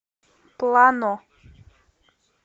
плано